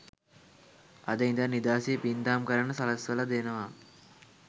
අද ඉඳන් නිදහසේ පින්දහම් කරන්න සලස්සවල දෙනව.